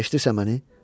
Eşidirsən məni?